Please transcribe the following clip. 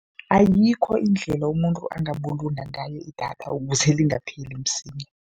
Ayikho indlela umuntu angabulunga ngayo idatha ukuze lingapheli msinya.